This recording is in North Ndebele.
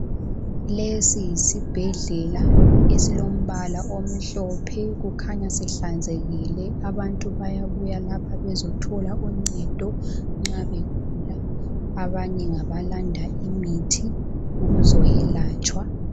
Lesi yisibhedlela esilombala omhlophe kukhanya sihlanzekile abantu bayabuya lapha bezothola uncedo nxa begula. Abanye ngabalanda imithi ukuzoyelatshwa.